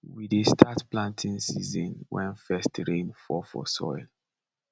we dey start planting season wen first rain fall for soil